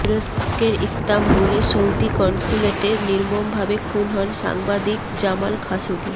তুরস্কের ইস্তাম্বুলে সৌদি কনস্যুলেটে নির্মমভাবে খুন হন সাংবাদিক জামাল খাশোগি